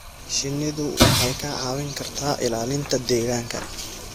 Shinnidu waxay kaa caawin kartaa ilaalinta deegaanka.